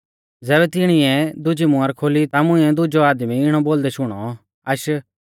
ज़ैबै तिणिऐ दुजी मुहर खोली ता मुंइऐ दुजौ आदमी इणौ बौल़दै शुणौ आश